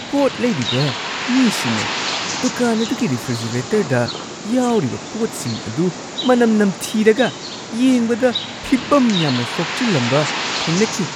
ꯄꯣꯠ ꯂꯩꯔꯤꯕ ꯃꯤꯁꯤꯡꯅ ꯗꯨꯀꯥꯟ ꯑꯗꯨꯒꯤ ꯔꯤꯐ꯭ꯔꯤꯖꯤꯔꯦꯇꯔꯗ ꯌꯥꯎꯔꯤꯕ ꯄꯣꯠꯁꯤꯡ ꯑꯗꯨ ꯃꯅꯝ ꯅꯝꯊꯤꯔꯒ ꯌꯦꯡꯕꯗ ꯐꯤꯚꯝ ꯌꯥꯝꯅ ꯁꯣꯛꯆꯤꯜꯂꯝꯕ ꯊꯦꯡꯅꯈꯤ ꯫